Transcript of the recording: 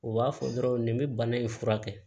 U b'a fɔ dɔrɔn nin bɛ bana in fura kɛ